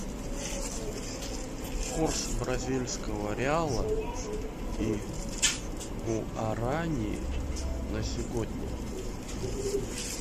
курс бразильского реала и гуарани на сегодня